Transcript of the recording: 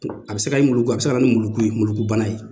A bɛ se ka na ni muluku, a bɛ se ka na ni muluku, ye muluku bana ye.